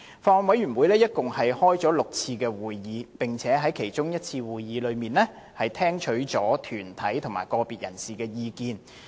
法案委員會共召開了6次會議，並在其中一次會議聽取了團體及個別人士的意見。